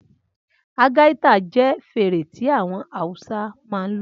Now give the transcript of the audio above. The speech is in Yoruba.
Algaita jẹ́ fèrè tí àwọn Awúsá máa ń lò